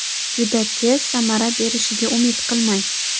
Juda tez samara berishiga umid qilmang.